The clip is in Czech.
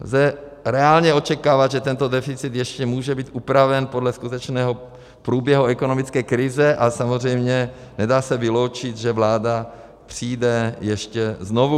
Lze reálně očekávat, že tento deficit ještě může být upraven podle skutečného průběhu ekonomické krize, a samozřejmě se nedá vyloučit, že vláda přijde ještě znovu.